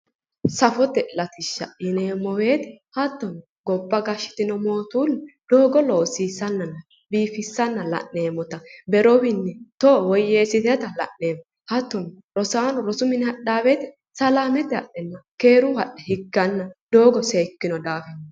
Safote latishsha yineemmo woyte hattono gobba gashshitino mootuulli doogo loosiissannanna biifissanna la'neemmota berowiinni teyo woyyeessiteyota la'neemmo hattono rosaano rosu mine hadhaa woyte salaamete hadhe higganna keeruyi hadhanno doogo seekkino daafira